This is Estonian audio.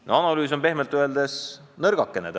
Tehtud analüüs on pehmelt öeldes nõrgakene.